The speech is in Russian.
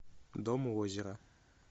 дом у озера